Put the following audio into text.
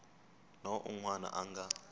na un wana a nga